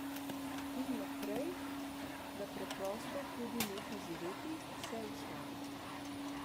In naprej, da preprosto tudi neha živeti, se ustavi.